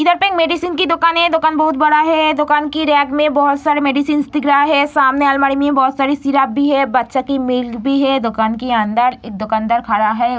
इधर पे मेडिसिन की दुकान है। दुकान बहोत बड़ा है। दुकान की रेक में बोहोत सारी मेडिसिन दिख रहा है। सामने अलमारी में बोहोत सारी सिरप भी है बच्चा की मिल्क भी हैं। दुकान के अंदर एक दुकानदार खड़ा है।